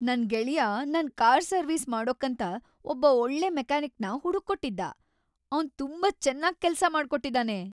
ನನ್ ಗೆಳ್ಯಾ ನನ್ ಕಾರ್‌ ಸರ್ವೀಸ್‌ ಮಾಡೋಕಂತ ಒಬ್ಬ ಒಳ್ಳೆ ಮೆಕಾನಿಕ್‌ನ ಹುಡುಕ್ಕೊಟ್ಟಿದ್ದ, ಅವ್ನು ತುಂಬಾ ಚೆನಾಗ್‌ ಕೆಲ್ಸ ಮಾಡ್ಕೊಟ್ಟಿದಾನೆ.